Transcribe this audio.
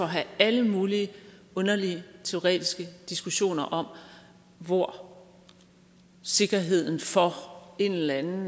have alle mulige underlige teoretiske diskussioner om hvor sikkerheden for en eller anden